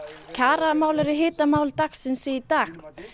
kjaramálin eru hitamál dagsins í dag